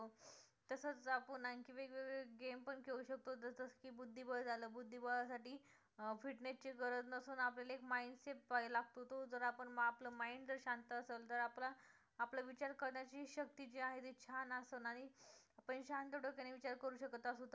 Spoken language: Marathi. बुध्दीबळ झालं बुद्धिबळासाठी अं fitness ची गरज नसून आपल्याला एक mind set लागतो, तो जर आपलं mind शांत असेल तर आपलं आपलं विचार करण्याची शक्ती जी आहे ती छान असेल आणि आपण शांत डोक्याने विचार करू शकत असू तर